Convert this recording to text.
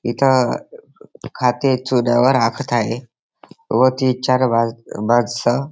इथ खाते चुन्यावर आखत आहे व तीन चार माणस